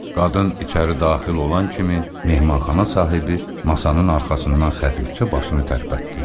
Qadın içəri daxil olan kimi mehmanxana sahibi masanın arxasından xəfifçə başını tərpətdi.